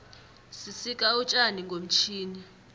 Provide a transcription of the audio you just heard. sisika utjani ngomtjhini